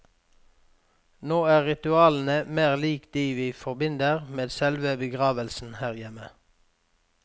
Nå er ritualene mer lik de vi forbinder med selve begravelsen her hjemme.